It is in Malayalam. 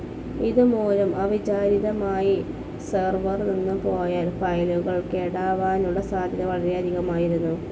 ഇതുമൂലം അവിചാരിതമായി സെർവർ നിന്നുപോയാൽ ഫയലുകൾ കേടാവാനുള്ള സാധ്യത വളരെയധികമായിരുന്നു.